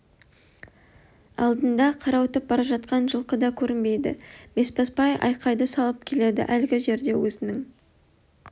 алдында қарауытып бара жатқан жылқы да көрінбейді бесбасбай айқайды салып келеді әлгі жерде өзінің